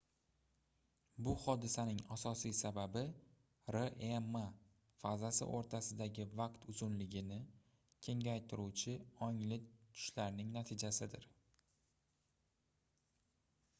bu hodisaning asosiy sababi rem fazasi oʻrtasidagi vaqt uzunligini kengaytiruvchi ongli tushlarning natijasidir